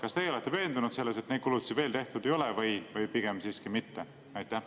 Kas teie olete veendunud, et neid kulutusi veel tehtud ei ole, või pigem siiski mitte?